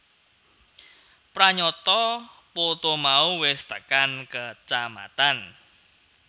Pranyata poto mau wis tekan kacamatan